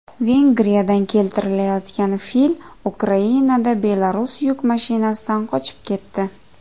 Vengriyadan keltirilayotgan fil Ukrainada Belarus yuk mashinasidan qochib ketdi.